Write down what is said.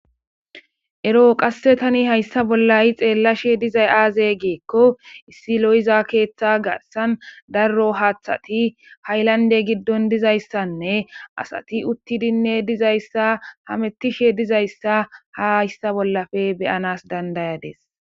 Ero qasse tani hayssa bollayi xeellashe dizay aaze geekko issi lo7iza keeththa garsan darro haaththati haylande giddon dizayssanne asati uttidinne dizayssa hamettishe dizayssa ha hayssa bollafe beyanas dandayades.